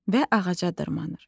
Və ağaca dırmanır.